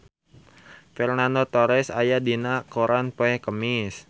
Fernando Torres aya dina koran poe Kemis